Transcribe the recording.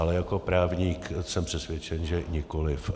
Ale jako právník, jsem přesvědčen, že nikoliv.